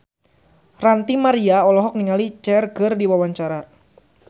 Ranty Maria olohok ningali Cher keur diwawancara